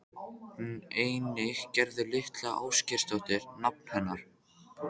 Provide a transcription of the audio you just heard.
Einnig Gerður litla Ásgeirsdóttir nafna hennar.